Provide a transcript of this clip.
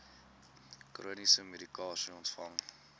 chroniese medikasie ontvang